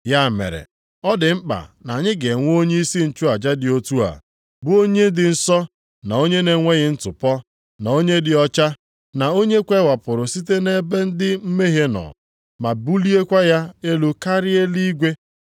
Ya mere, ọ dị mkpa na anyị ga-enwe onyeisi nchụaja dị otu a, bụ onye dị nsọ, na onye na-enweghị ntụpọ, na onye dị ọcha, na onye e kewapụrụ site nʼebe ndị mmehie nọ, ma buliekwa ya elu karịa nʼeluigwe.